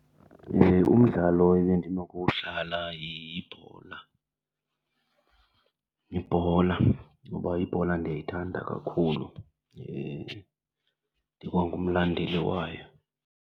Umdlalo ebendinokuwudlala yibhola. Yibhola kuba ibhola ndiyayithanda kakhulu ndikwangumlandeli wayo.